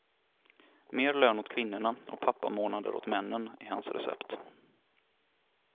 Mer lön åt kvinnorna och pappamånader åt männen, är hans recept.